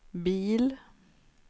bil